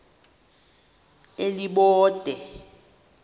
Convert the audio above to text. elibode